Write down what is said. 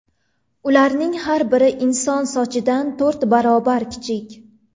Ularning har biri inson sochidan to‘rt barobar kichik.